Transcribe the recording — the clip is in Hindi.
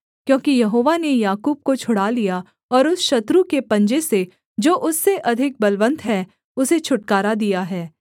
क्योंकि यहोवा ने याकूब को छुड़ा लिया और उस शत्रु के पंजे से जो उससे अधिक बलवन्त है उसे छुटकारा दिया है